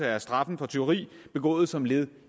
er straffen for tyveri begået som led